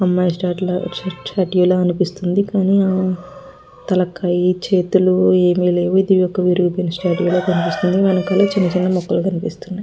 అమ్మాయి షిట్ లాగా స్టేట్యూ లాగా అనిపిస్తుంది. కానీ తలకాయ చేతులు ఏమీ లేవు. ఇది ఒక విరిగి పోయిన స్టేట్యూ కూడా కనిపిస్తుంది. వెనకాల చిన్న చిన్న మొక్కలు కనిపిస్తున్నాయి.